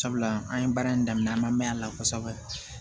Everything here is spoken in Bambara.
Sabula an ye baara in daminɛ an ma mɛn a la kosɛbɛ